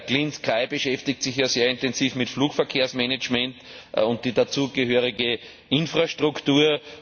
Clean Sky beschäftigt sich ja sehr intensiv mit Flugverkehrsmanagement und der dazugehörigen Infrastruktur.